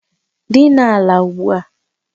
Dina ala ugbua!